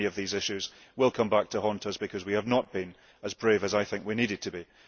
many of these issues will come back to haunt us because we have not been as brave as I feel we needed to be.